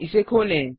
इसे खोलें